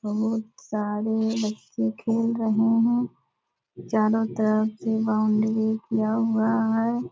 बहुत सारे बच्चे खेल रहे हैं चारों तरफ से बाउंड्री किया हुआ है।